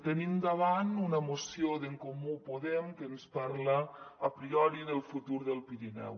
tenim davant una moció d’en comú podem que ens parla a priori del futur del pirineu